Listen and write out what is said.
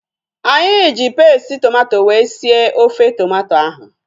Anyị ji pesti tomato wee sie ofe tomato ahu